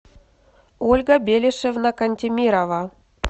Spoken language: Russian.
ольга белешевна кантемирова